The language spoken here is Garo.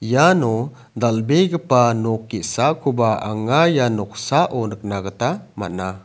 iano dal·begipa nok ge·sakoba anga ia noksao nikna gita man·a.